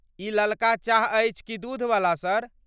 ई ललका चाह अछि की दूधवला, सर?